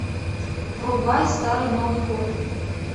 врубай старый новый год